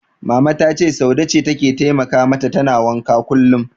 Mama ta ce Saude ce take taimaka mata tana wankan kullum.